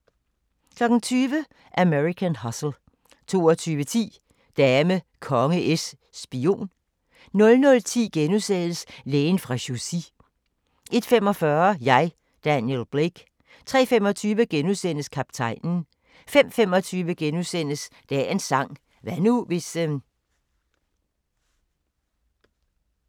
20:00: American Hustle 22:10: Dame, konge, es, spion 00:10: Lægen fra Chaussy * 01:45: Jeg, Daniel Blake 03:25: Kaptajnen * 05:25: Dagens sang: Hvad nu, hvis *